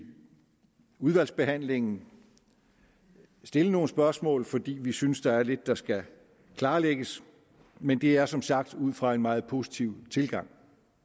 udvalgsbehandlingen stille nogle spørgsmål fordi vi synes der er lidt der skal klarlægges men det er som sagt ud fra en meget positiv tilgang